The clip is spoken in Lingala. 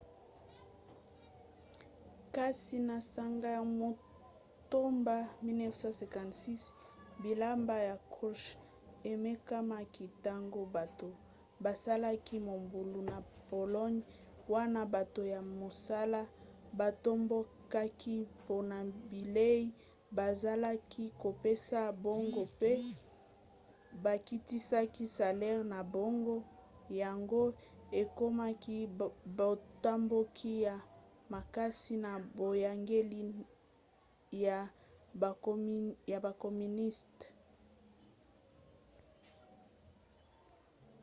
kasi na sanza ya motoba 1956 bilaka ya krouchtchev emekamaki ntango bato basalaki mobulu na pologne wana bato ya mosala batombokaki mpona bilei bazalaki kopesa bango mpe bakitisaki salere na bango yango ekomaki botomboki ya makasi na boyangeli ya bakoministe